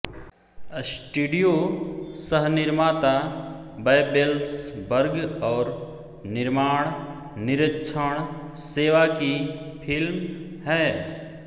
studio सहनिर्माता Babelsberg और निर्माण निरिक्षण सेवा की फ़िल्म है